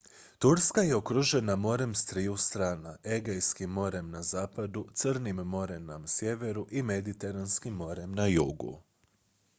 turska je okružena morem s triju strana egejskim morem na zapadu crnim morem na sjeveru i mediteranskim morem na jugu